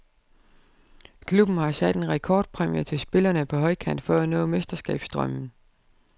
Klubben har sat en rekordpræmie til spillerne på højkant for at nå mesterskabsdrømmen.